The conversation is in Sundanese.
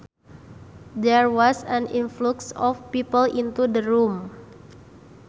There was an influx of people into the room